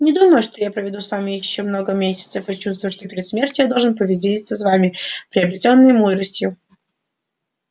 не думаю что я проведу с вами ещё много месяцев и чувствую что перед смертью я должен поделиться с вами приобретённой мудростью